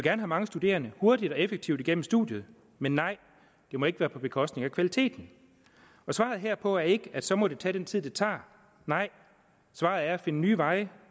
have mange studerende hurtigt og effektivt igennem studiet men nej det må ikke være på bekostning af kvaliteten svaret herpå er ikke så må det tage den tid det tager nej svaret er at finde nye veje